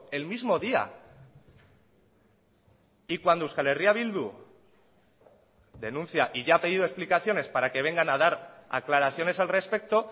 el mismo día y cuando euskal herria bildu denuncia y ya ha pedido explicaciones para que vengan a dar aclaraciones al respecto